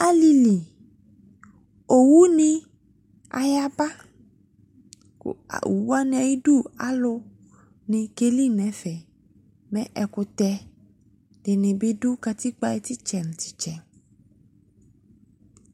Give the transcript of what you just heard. Alili, owu ne ayaba Owu wane ayidu alu ne keli no ɛfɛ Mɛ ekutɛ ne be do katikpo aye tetsɛ no tetsɛ